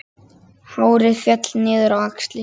Hárið féll niður á axlir.